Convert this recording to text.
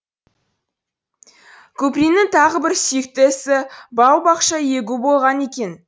куприннің тағы бір сүйікті ісі бау бақша егу болған екен